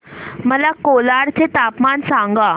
मला कोलाड चे तापमान सांगा